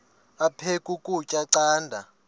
aphek ukutya canda